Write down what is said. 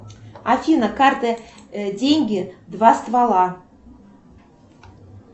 афина карты деньги два ствола